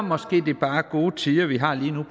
måske bare er gode tider vi har lige nu